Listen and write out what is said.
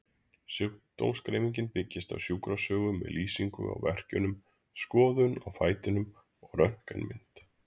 Sjúkdómsgreining byggist á sjúkrasögu með lýsingu á verkjunum, skoðun á fætinum og röntgenmynd.